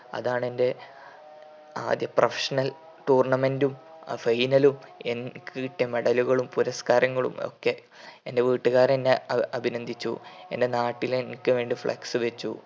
അതാണെന്റെ ആദ്യ professional tournament ഉം ആ final ഉം എനിക്ക് കിട്ടിയ medal കളും പുരസ്കാരങ്ങളുമൊക്കെ എന്റെ വീട്ടുകാരെന്നെ ആ അഭിനന്ദിച്ചു എന്റെ നാട്ടിൽ എനിക്ക് വേണ്ടി flex വെച്ചു.